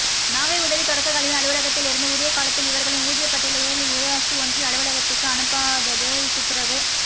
நாகை உதவித் தொடக்கக் கல்வி அலுவலகத்திலிருந்து உரிய காலத்தில் இவர்களின் ஊதியப் பட்டியலை ஊராட்சி ஒன்றிய அலுவலகத்துக்கு அனுப்பாததே துப்புரவுப்